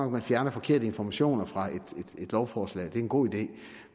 at man fjerner forkerte informationer fra et lovforslag det er en god idé